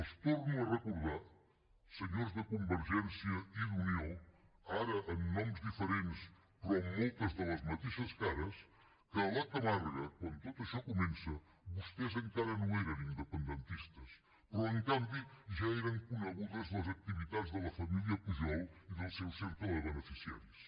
els torno a recordar senyors de convergència i d’unió ara amb noms diferents però amb moltes de les mateixes cares que a la camarga quan tot això comença vostès encara no eren independentistes però en canvi ja eren conegudes les activitats de la família pujol i del seu cercle de beneficiaris